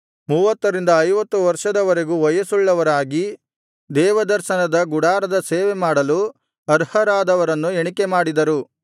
ಮೂವತ್ತರಿಂದ ಐವತ್ತು ವರ್ಷದವರೆಗೂ ವಯಸ್ಸುಳ್ಳವರಾಗಿ ದೇವದರ್ಶನದ ಗುಡಾರದ ಸೇವೆ ಮಾಡಲು ಅರ್ಹರದವರನ್ನು ಎಣಿಕೆಮಾಡಿದರು